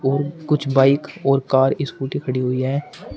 और कुछ बाइक और कार स्कूटी खड़ी हुई हैं।